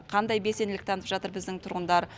қандай белсенділік танытып жатыр біздің тұрғындар